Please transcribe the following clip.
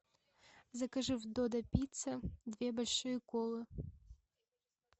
закажи в додо пицца две большие колы